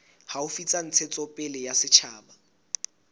haufi tsa ntshetsopele ya setjhaba